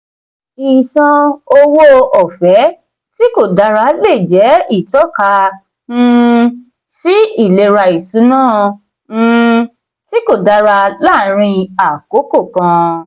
ìṣàn owó ọ̀fẹ́ tí kò dára lè jẹ́ ìtọ́ka um sí ìlera ìṣúná um tí kò dára láàárín àkókò kan.